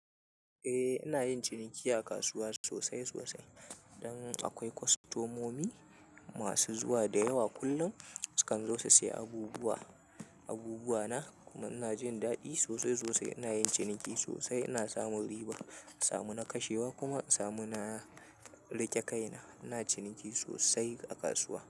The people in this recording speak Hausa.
Eh, ina yin ciniki a kasuwa sosai sosai. Don akwai kwastomomi masu zuwa da yawa, kullum sukan zo su sayi abubuwa, abubuwa na. Kuma ina jin daɗi sosai sosai. Ina yin ciniki sosai, ina samun riba, samu na kashewa kuma samu na riƙe kaina. Ina ciniki sosai a kasuwa.